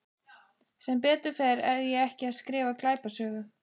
Sem betur fer er ég ekki að skrifa glæpasögu.